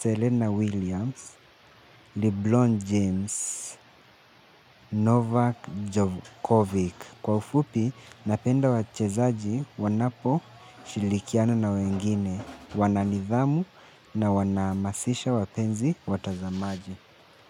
Serena Williams, LeBron James, Novak Djokovic. Kwa ufupi, napenda wachezaji wanaposhirikiana na wengine, wana nidhamu na wanahamasisha wapenzi watazamaji.